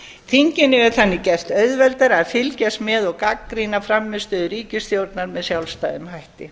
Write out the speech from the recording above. þinginu er þannig gert auðveldara að fylgjast með og gagnrýna frammistöðu ríkisstjórnar með sjálfstæðum hætti